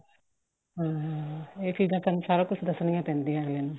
ਹਮ ਇਹ ਚੀਜ਼ਾਂ ਸਾਨੂੰ ਸਾਰਾ ਕੁੱਝ ਦੱਸਣੀਆਂ ਪੈਂਦੀਆਂ ਅੱਗਲੇ ਨੂੰ